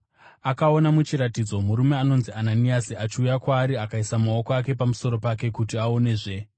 Akaona muchiratidzo murume anonzi Ananiasi achiuya kwaari akaisa maoko ake pamusoro pake kuti aonezve.”